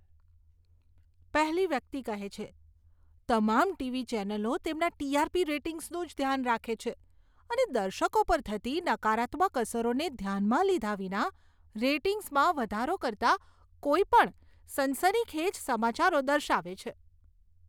પહેલી વ્યક્તિ કહે છે, તમામ ટીવી ચેનલો તેમના ટી.આર.પી. રેટિંગ્સનું જ ધ્યાન રાખે છે અને દર્શકો પર થતી નકારાત્મક અસરોને ધ્યાનમાં લીધા વિના રેટિંગ્સમાં વધારો કરતા કોઈપણ સનસનીખેજ સમાચારો દર્શાવે છે.